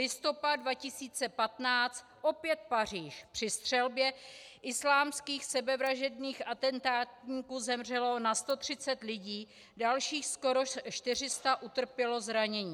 Listopad 2015 opět Paříž - při střelbě islámských sebevražedných atentátníků zemřelo na 130 lidí, dalších skoro 400 utrpělo zranění.